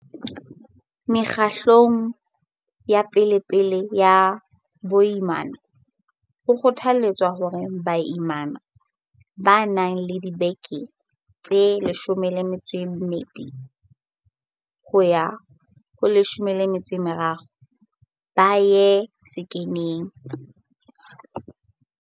Mekgahlelong ya pe lepele ya boimana, ho kgothaletswa hore baimana ba nang le dibeke tse 12 yo ha ho tse 13 ba ye sekheneng.